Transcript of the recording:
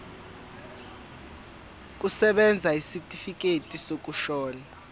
kusebenza isitifikedi sokushona